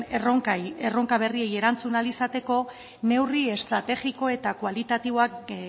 erronka berriei erantzun ahal izateko neurri estrategiko eta kualitatiboak